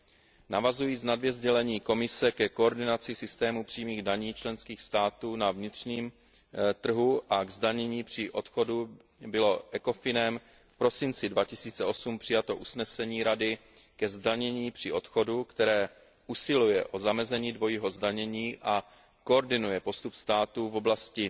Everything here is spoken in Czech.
V návaznosti na dvě sdělení Komise ke koordinaci systému přímých daní členských států na vnitřním trhu a k zdanění při odchodu bylo ECOFINEM v prosinci 2008 přijato usnesení Rady ke zdanění při odchodu, které usiluje o zamezení dvojího zdanění a koordinuje postup státu v oblasti